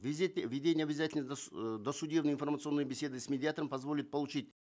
введение обязательной э досудебной информационной беседы с медиатором позволит получить